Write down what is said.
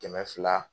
Kɛmɛ fila